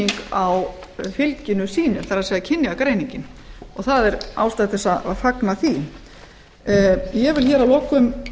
greining á fylginu sýnist kynjagreiningin og það er ástæða til að fagna því ég vil að lokum